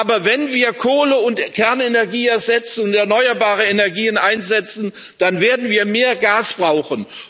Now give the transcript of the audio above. Aber wenn wir Kohle und Kernenergie ersetzen und erneuerbare Energien einsetzen, dann werden wir mehr Gas brauchen.